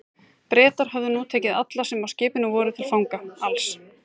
Bretar höfðu nú tekið alla, sem á skipinu voru, til fanga, alls